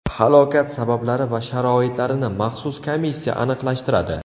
Halokat sabablari va sharoitlarini maxsus komissiya aniqlashtiradi.